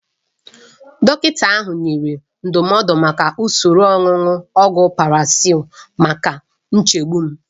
Dọkịta ahụ nyere ndụmọdụ maka usoro onunu ogwu Paxil maka nchegbu m.